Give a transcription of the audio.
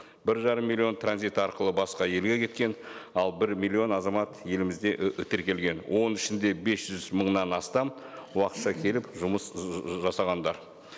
бір жарым миллион транзит арқылы басқа елге кеткен ал бір миллион азамат елімізде тіркелген оның ішінде бес жүз мыңнан астам уақытша келіп жұмыс жасағандар